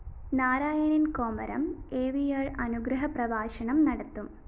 നാരായണന്‍ കോമരം എിവര്‍ അനുഗ്രഹപ്രഭാഷണം നടത്തും